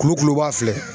Kulukuluba filɛ